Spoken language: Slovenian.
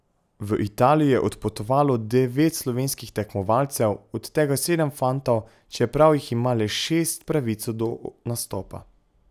V Italijo je odpotovalo devet slovenskih tekmovalcev, od tega sedem fantov, čeprav jih ima le šest pravico do nastopa.